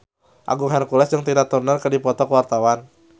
Agung Hercules jeung Tina Turner keur dipoto ku wartawan